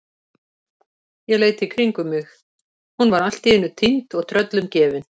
Ég leit í kringum mig, hún var allt í einu týnd og tröllum gefin!